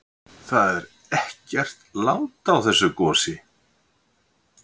Það er ekkert lát á þessu gosi?